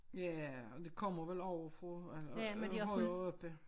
Ja og det kommer vel ovenfra eller øh øh højere oppe